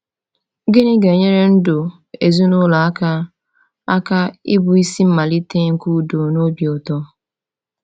Gịnị ga-enyere ndụ ezinụlọ aka aka ịbụ isi mmalite nke udo na obi ụtọ?